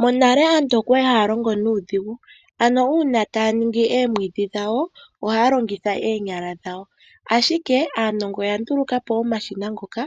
Monale aantu okwali haya longo nuudhigu. Ano uuna taya longo oomwiidhi dhawo, ohaya longitha oonyala dhawo. Ashike aanongo oya nduluka po omashina ngono